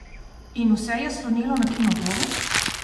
In vse je slonelo na Kinodvoru?